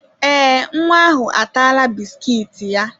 Ee, nwa ahụ ataala bisikiiti ya.